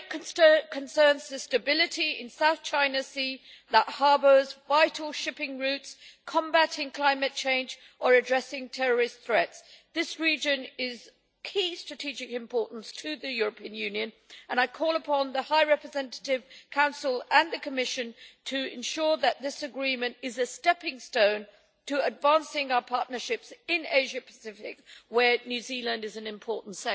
Whether it concerns the stability in the South China Sea that harbours vital shipping routes, combating climate change or addressing terrorist threats, this region is of key strategic importance to the European Union and I call upon the High Representative, the Council and the Commission to ensure that this agreement is a stepping stone to advancing our partnerships in the Asia Pacific region, where New Zealand is an important